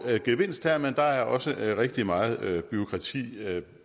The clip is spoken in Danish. gevinst her men der er også rigtig meget bureaukrati